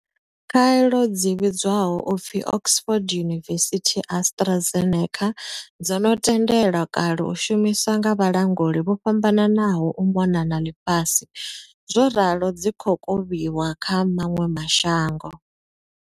Khaelo dzi vhidzwaho u pfi Oxford University-AstraZeneca dzo no tendelwa kale u shumiswa nga vhalanguli vho fhambananaho u mona na ḽifhasi zworalo dzi khou kovhiwa kha maṅwe ma shango.